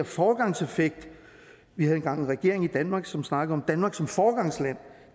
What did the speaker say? foregangseffekt vi havde engang en regering i danmark som snakkede om danmark som foregangsland